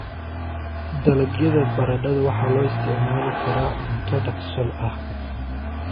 Dalagyada baradhada waxaa loo isticmaali karaa cunto dhaqso ah.